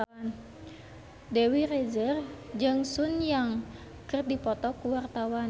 Dewi Rezer jeung Sun Yang keur dipoto ku wartawan